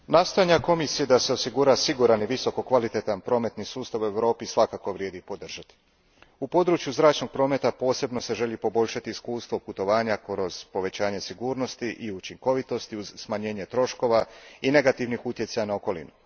Gospodine predsjedniče, nastojanja Komisije da se osigura siguran i visoko kvalitetan prometni sustav u Europi svakako vrijedi podržati. U području zračnog prometa posebno se želi poboljšati iskustvo putovanja kroz povećanje sigurnosti i učinkovitosti uz smanjenje troškova i negativnih utjecaja na okolinu.